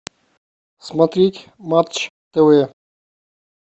смотреть матч тв